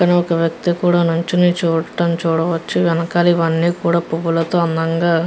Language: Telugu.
ఇక్కడ ఒక వ్యక్తి కూడా నిల్చొని ఉండడం చూడవచ్చు. వెనుక ఇవని పూలతో అందంగా --